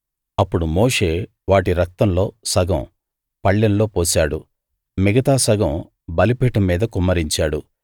అప్పుడు మోషే వాటి రక్తంలో సగం పళ్ళెంలో పోశాడు మిగతా సగం బలిపీఠం మీద కుమ్మరించాడు